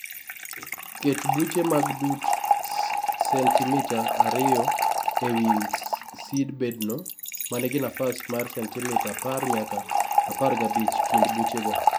Ket buche mag dut sentimita ariyo ewi seedbedno manigi nafas mar sentimita apar nyaka apagrabich kind buchego.